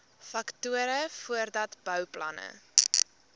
faktore voordat bouplanne